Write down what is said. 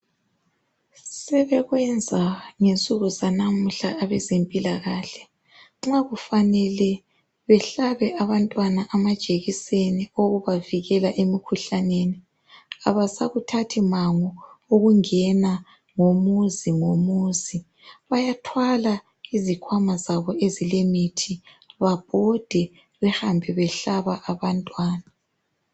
Sebekwenza ngensuku zanamuhla abezempilakahle ,nxa kufanele behlabe abantwana amajekiseni okubavikela emikhuhlaneni ,abasakuthathi mango ukungena ngomuzi ngomuzi ,bayathwala izikhwama zabo ezilemithi babhode behambe bahlaba abantwana